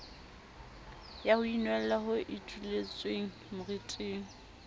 ya ho inwella ho ituletswemoriting